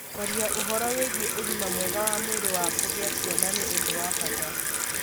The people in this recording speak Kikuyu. Kwaria ũhoro wĩgiĩ ũgima mwega wa mwĩrĩ wa kugĩa ciana nĩ ũndũ wa bata.